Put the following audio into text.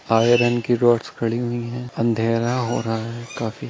iron की rods खड़ी हुई है अँधेरा हो रहा है काफी--